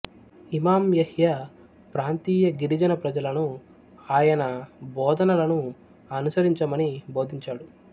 ఇమాం Yahya ప్రాంతీయ గిరిజన ప్రజలను ఆయన బోధనలను అనుసరించమని బోధించాడు